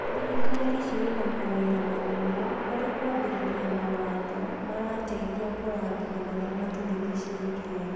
Thirikari cirĩ na mawĩra manene harĩ kũambĩrĩra mawatho marateithia kũrangĩra marĩa matũrigicĩirie.